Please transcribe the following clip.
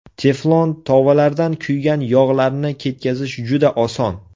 Teflon tovalardan kuygan yog‘larni ketkazish juda oson.